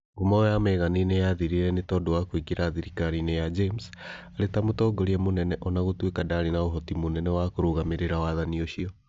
Ngumo ya Megani nĩ yaathirire nĩ tondũ wa kũingĩra thirikari-inĩ ya James arĩ ta mũtongoria mũnene ona gũtuĩka ndaarĩ na ũhoti mũnene wa kũrũgamĩrĩra wathani ũcio.